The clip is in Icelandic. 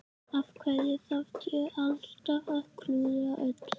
Af hverju þarf ég alltaf að klúðra öllu?